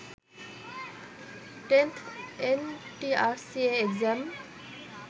10th ntrca exam